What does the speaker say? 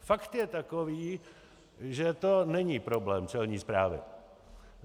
Fakt je takový, že to není problém Celní správy.